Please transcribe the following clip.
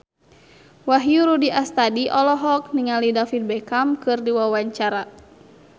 Wahyu Rudi Astadi olohok ningali David Beckham keur diwawancara